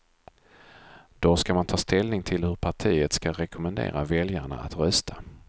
Då ska man ta ställning till hur partiet ska rekommendera väljarna att rösta.